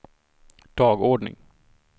dagordning